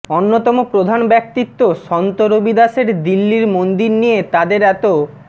অন্যতম প্রধান ব্যক্তিত্ব সন্ত রবিদাসের দিল্লির মন্দির নিয়ে তাদের এত